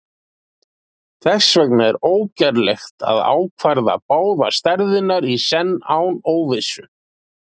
Þess vegna er ógerlegt að ákvarða báðar stærðirnar í senn án óvissu.